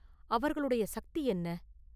அவர்களுடைய சக்தி என்ன?